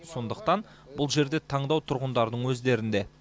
сондықтан бұл жерде таңдау тұрғындардың өздерінде